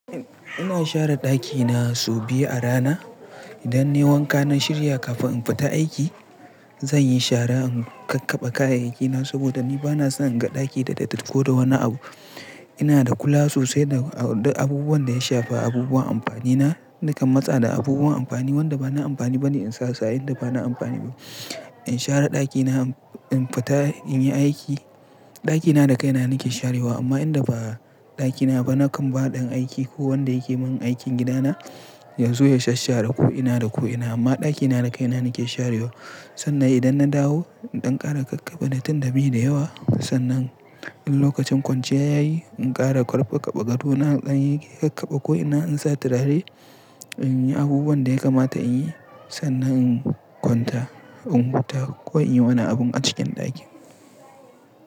Ina share ɗakina sau biyu a rana. Idan nai wanka na shirya kafin in fita aiki, zan yi shara in kakkabe kayayyaki na saboda ni bana son in ga ɗaki da datti da wani abu. Ina da kula sosai da, da abubuwan da ya shafa abubuwan amfani na, dukan matsa da abubuwan amfani wanda ba na amfani ba ne in sa sa'in da ba na amfani bu. In share ɗakina in, in fita in yi aiki, ɗakina da kaina na ke sharewa amma idan ba ɗakina ba nakan ba ɗan aiki ko wanda ya ke mun aikin gidana ya zo ya sashen share ko ina da ko ina. Amma ɗakina da kaina nake sharewa sannan idan na dawo in ɗan ƙara kakkabe na tun da mi da yawa sannan in lokacin kwanciya yayi in ƙara ƙarfafa gado na, zan yi kakkaba ko'ina in sa turare in yi abubuwan da ya kamata in yi sannan in kwanta, in huta ko in yi wani abun a cikin ɗakin.